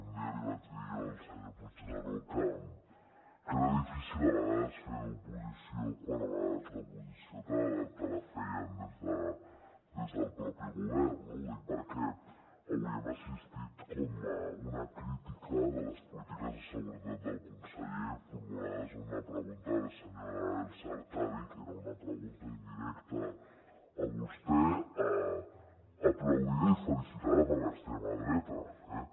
un dia li vaig dir jo al senyor puigneró que era difícil a vegades fer d’oposició quan a vegades l’oposició te la feien des del propi govern no ho dic perquè avui hem assistit a una crítica de les polítiques de seguretat del conseller formulades a una pregunta de la senyora elsa artadi que era una pregunta indirecta a vostè aplaudida i felicitada per l’extrema dreta també